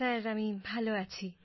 সির আমি ভালো আছি